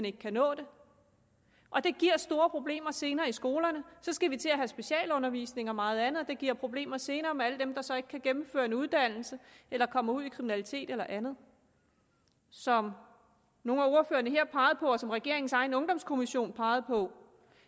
ikke kan nå det og det giver store problemer senere i skolerne så skal vi til at have specialundervisning og meget andet og det giver problemer senere med alle dem der så ikke kan gennemføre en uddannelse eller kommer ud i kriminalitet eller andet som nogle af ordførerne her pegede på og som regeringens egen ungdomskommission pegede på